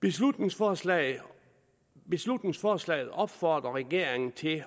beslutningsforslaget beslutningsforslaget opfordrer regeringen til